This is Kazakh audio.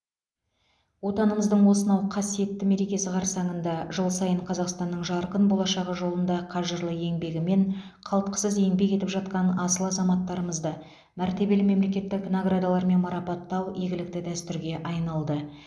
отанымыздың осынау қасиетті мерекесі қарсаңында жыл сайын қазақстанның жарқын болашағы жолында қажырлы еңбегімен қалтқысыз еңбек етіп жатқан асыл азаматтарымызды мәртебелі мемлекеттік наградалармен марапаттау игілікті дәстүрге айналды